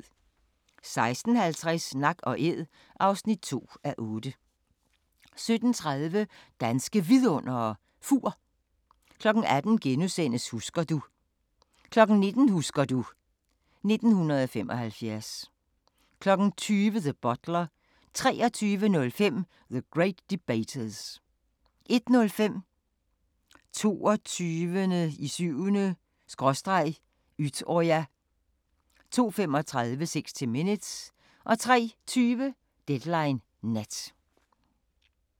16:50: Nak & æd (2:8) 17:30: Danske Vidundere: Fur 18:00: Husker du * 19:00: Husker du ...1975 20:00: The Butler 23:05: The Great Debaters 01:05: 22.07/Utøya 02:35: 60 Minutes 03:20: Deadline Nat